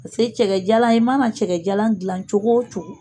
Pase cɛkɛjalan i mana cɛkɛjalan gilan cogo o cogo.